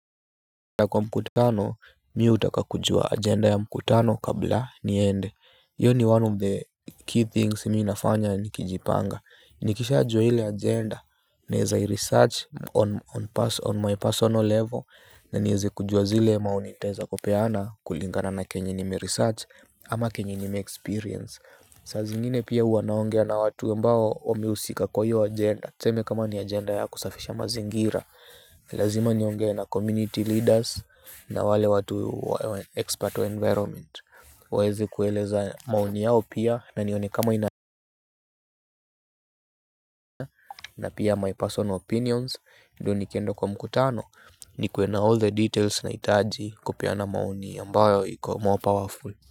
Kwa mkutano mimi utakakujua agenda ya mkutano kabla niende hiyo ni one the key things mimi nafanya nikijipanga. Nikishaajua ile agenda naeza i-research on person on my personal level na niweze kujua zile maoni nitaweza kupeana kulingana na chenye nime-research ama chenye nime-experience saa zingine pia huwa naongea na watu ambao wamehusika kwa hiyo agenda tuseme kama ni agenda ya kusafisha mazingira lazima niongee na community leaders na wale watu expert wa environment waweze kueleza maoni yao pia na nione kama ina na pia my personal opinions ndio nikienda kwa mkutano nikuwe na all the details naitaji kupeana maoni ambayo iko more powerful.